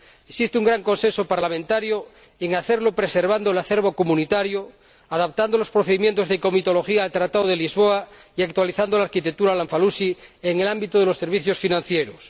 Existe un gran consenso parlamentario en hacerlo preservando el acervo comunitario, adaptando los procedimientos de comitología al Tratado de Lisboa y actualizando la arquitectura Lamfalussy en el ámbito de los servicios financieros.